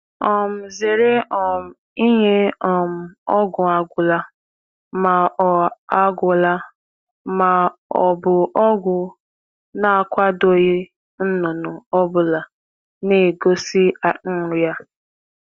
Zere inye ọgwụ agwụla oge maọbụ ọgwụ e kweghị ka a jiri ya um mee ihe n’anụ ọkụkọ na-egosi na-egosi um ọrịa.